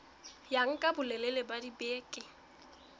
ya nka bolelele ba dibeke